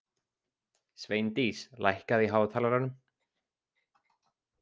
Sveindís, lækkaðu í hátalaranum.